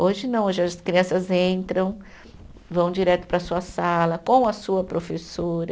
Hoje não, hoje as crianças entram, vão direto para a sua sala com a sua professora.